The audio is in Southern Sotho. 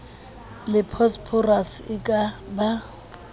le phosphorus e ka ba